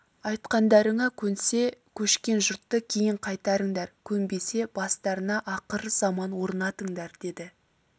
айтқандарыңа көнсе көшкен жұртты кейін қайтарыңдар көнбесе бастарына ақыр заман орнатыңдар деді